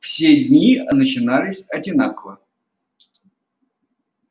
все дни начинались одинаково